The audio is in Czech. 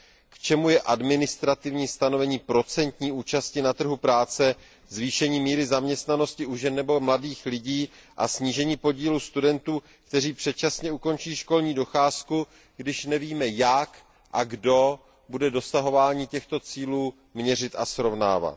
K čemu je administrativní stanovení procentní účasti na trhu práce, zvýšení míry zaměstnanosti u žen nebo mladých lidí a snížení podílu studentů, kteří předčasně ukončí školní docházku, když nevíme, kdo a jak bude dosahování těchto cílů měřit a srovnávat.